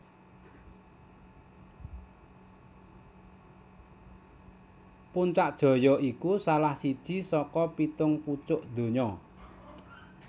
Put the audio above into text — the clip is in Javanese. Puncak Jaya iku salah siji saka pitung pucuk donya